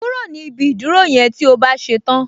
Kúrò ni ibi ìdúró yẹn tí o bá ṣe tán